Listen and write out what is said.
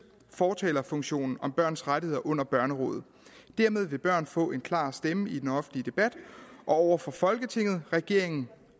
fortalerfunktionen om børns rettigheder under børnerådet dermed vil børn få en klar stemme i den offentlige debat og over for folketinget regeringen